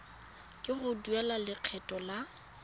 ke go duela lekgetho la